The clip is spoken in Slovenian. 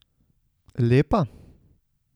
Lepa?